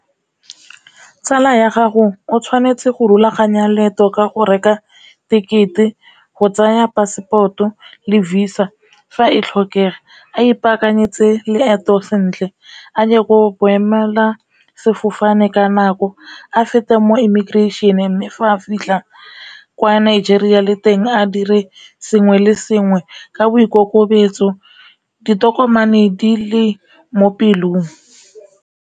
Tsala ya gago o tshwanetse go rulaganya leeto ka go reka tekete, go tsaya pasepoto, le Visa fa e tlhokega, a ipaakanyetse leeto sentle, a ye go boemela sefofane ka nako, a feta mo emigration mme fa a fitlha kwa Nigeria le teng a dire sengwe le sengwe ka boikokobetso ditokomane di le mo pelong.